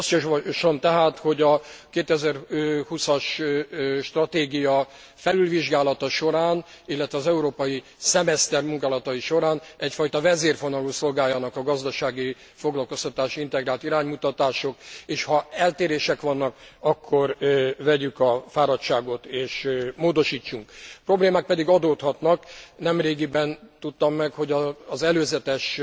Azt javaslom tehát, hogy a 2020 as stratégia felülvizsgálata során, illetve az európai szemeszter munkálatai során egyfajta vezérfonalul szolgáljanak a gazdasági foglalkoztatási integrált iránymutatások, és ha eltérések vannak, akkor vegyük a fáradságot és módosítsunk. Problémák pedig adódhatnak. Nemrégiben tudtam meg, hogy az előzetes